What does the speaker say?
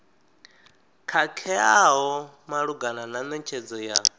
khakheaho malugana na netshedzo ya